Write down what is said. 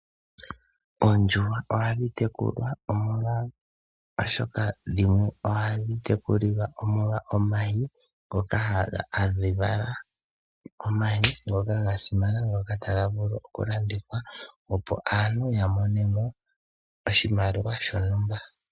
Oondjuhwa ohadhi tekulwa oshoka dhimwe ohadhi tekulilwa omo lwa omayi ngoka hadhi vala. Omayi ngoka ga simana ngoka taga vulu oku landithwa opo aantu ya mone mo oshimaliwa shontumba .